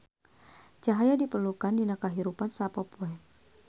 Cahaya diperlukeun dina kahirupan sapopoe.